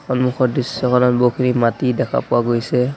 সন্মুখৰ দৃশ্যখনত বহুখিনি মাটি দেখা পোৱা গৈছে।